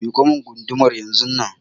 Miƙo mun gudumar yanzunnan!